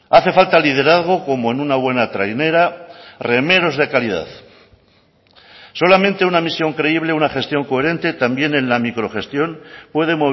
hace falta liderazgo como en una buena trainera remeros de calidad solamente una misión creíble una gestión coherente también en la microgestión puede